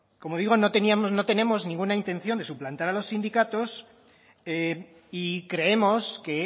como digo no teníamos no tenemos ninguna intención de suplantar a los sindicatos y creemos que